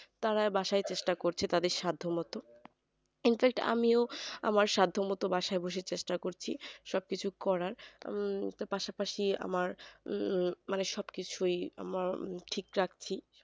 তারা বাসায় চেষ্টা করছে তাদের সাদ্য মতো infact আমিও আমার সাদ্য মতো বাসায় বসে চেষ্টা করছি সবকিছু করার উম তো পাশাপাশি আমার মানে সবকিছুই আমার ঠিক রাখছি